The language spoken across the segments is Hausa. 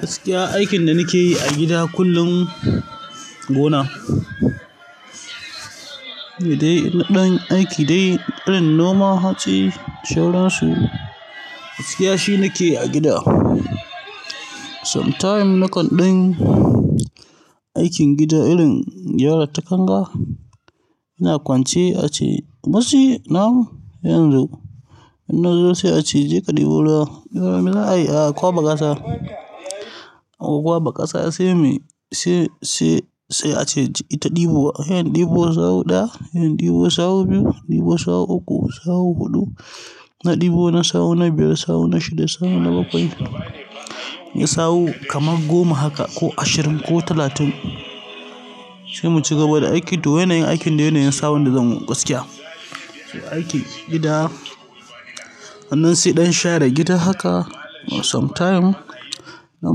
Gaskiya aikin da nake yi a gida kullum gona. Shine ɗan aiki dai irin noman hatsi, shauransu gaskiya shi nake yi a gida. Sometime nakan ɗan aikin gida irin gyara ta kanga. Ina kwance ace, musti na'am sai inzo. Wata rana sai ace jeka ɗebo ruwa wata rana za'ai a ƙwaɓa ƙasa a kwaɓa ƙasa sai mu, sai, sai, sai ace ita ɗibowa. Sai in ɗebo sahu ɗaya, sai in ɗibo sahu biyu, ɗibo sahu uku, sahu huɗu, na ɗibo na sahu na biyar, sahu na shida, sahu na bakwai. Nai sahu kamar goma haka ko ashirin ko talatin sai mu ci gaba da aikin. To, yanayin aikin dai yanayin sahun da zan yi gaskiya. Aikin gida, sannan sai ɗan share gida haka sometime. Nan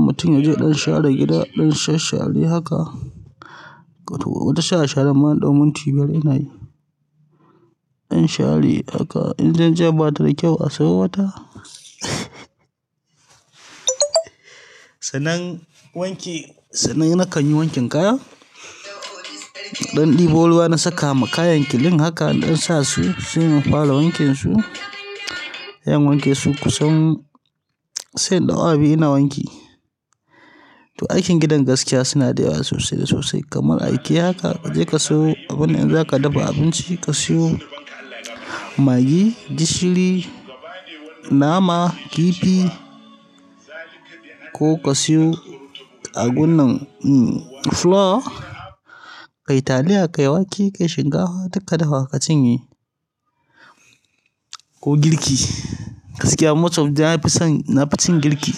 mutum ya je ɗan share gida, ɗan sha share haka. Wato inta share sharen ma in ɗau munti biyar inayi. In share haka, in tsintsiyar bata da kyau a sayi wata. Sanan wanke, sannan nakan yi wankin kaya. Ɗan ɗibo ruwa na saka ma kayan klin haka ɗan sa su, sai in fara wankinsu. In wanke su kusan sai in ɗau awa biyu ina wanki. To aikin gidan gaskiya suna da yawa sosai da sosai kamar aike haka. Kaje ka siyo abin da zaka dafa abinci, ka siyo maggi, gishiri, nama, kifi ko ka siyo a bunnan, mm, flour, ka yi taliya, ka yi wake, ka yi shinkafa duk ka dafa ka cinye. Ko girki, gaskiya most of the nafison, na fi cin girki.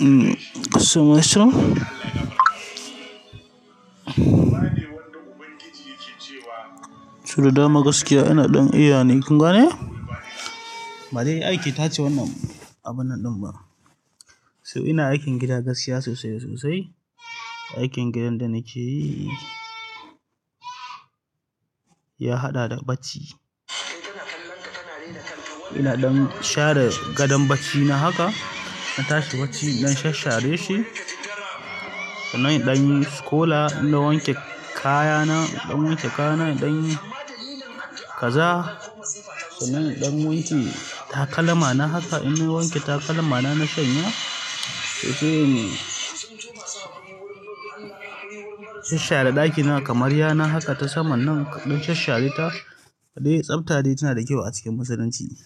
Mm, ka siyo masu. Sau da dama gaskiya ina ɗan eya ne. Kun gane? Badai ake tace wannan abun nan ɗin ba. So ina aikin gida gaskiya sosai da sosai. Aikin gidan da nake yi ya haɗa da bacci. Ina ɗan share gadon baccina haka, na tashi bacci, in ɗan shashare shi. Sannan in ɗan yi skola, inna wanke kayana, ɗan wanke kayana, ɗan yi kaza. Sannan in ɗan wanke takalma na haka, in na wanke takalma na, na shanya, to sai in shashare ɗakina kamar yana haka ta saman nan kaɗan shashareta to dai tsafta dai tana da kyau a cikin Musulunci.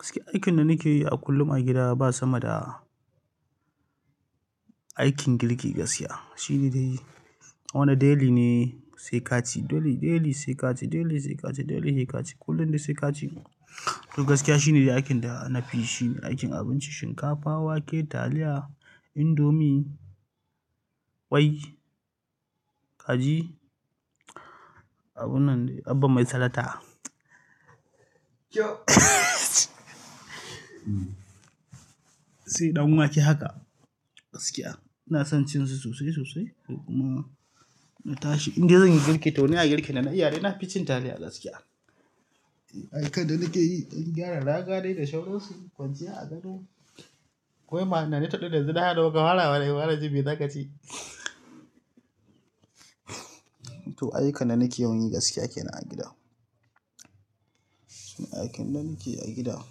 Gaskiya aikin da nake yi a kullum a gida ba sama da aikin girki gaskiya. Shi ne dai wannan daily ne sai kaci, daily, daily sai kaci, daily sai kaci, daily sai kaci, kullum dai sai kaci. To gaskiya shi ne aikin da na fi yinshi. Aikin abinci, shinkafa, wake, taliya, indomi, ƙwai, kaji, abun nan dai. Abba mai salata. Sai ɗan wake haka gaskiya. Ina son cin su sosai da sosai. Kuma na tashi indai zanyi girki, to ina girkin. Dana iyadai na fi cin taliya gaskiya. Aikan da nake yi, ɗan gyara raga dai da shauransu. Kwanciya a gado. Kowai ma ina ni taɗo yanzu na haɗa wa kamara wani jin zagaci. Aiyukan da nake yawan yi kenan gaskiya a gida. Aikin da nake yi a gida,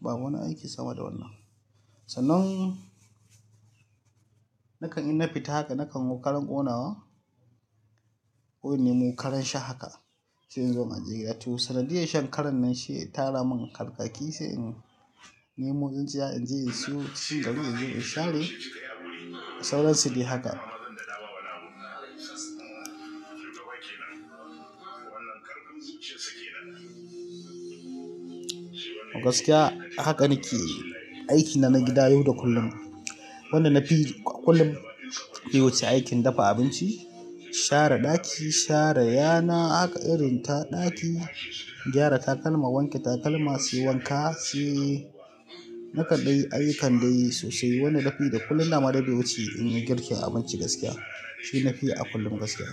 ba wani aiki sama da wannan. Sanan nakan in na fita haka nakan yo karan gonawa. Ko inemo karan sha haka. Sai in zo na je gida. To, sanadiyar shan karan nan shi ya tara mun harkakki, sai in nemo tsinstiya in je in siyo, sai in je in share sauransu dai haka. Gaskiya haka nake aikina na gada yau da kulum. Wannan na fi kullum baiwuci aikin dafa abinci, share ɗaki, share yana haka irin ta ɗaki, gyara takalma, wanke takalma, sai wanka, sai. Na kaɗai aiyukan dai sosai wada na fiyi da kullum da dai bai wuce in yi girki abinci gaskiya. Shi na fi a kullum gaskiya.